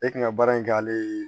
E kun ka baara in k'ale ye